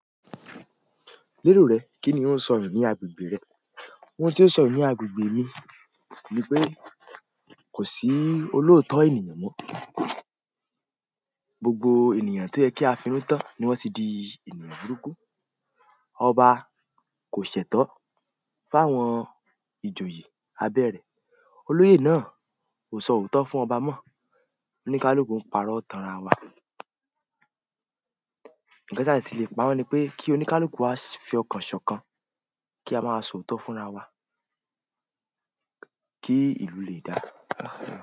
Ni inú rẹ, kíni ó ń sọ nù ní agbègbè rẹ? Ohun tí ó ń sọ nù ní agbègbè mi ni pé kò sí olóòótọ́ ènìyàn mọ. Gbogbo ènìyàn ti o ye ki a fi inú tan ni won ti di ènìyàn burúkú. Ọba kò ṣẹ̀tọ́ fáwọn ìjòyè abẹ́ rẹ̀. Oloye náà ko so ooto fún oba mo oníkálùú ń pàrọ̀ tánra wa. Ǹjẹ́ tí le pà mọ́ ni pé kí oníkálùú á fi ọkàn ṣọ̀kan kí a máa sọ òótọ́ fúnra wa kí ìlú lè dáa.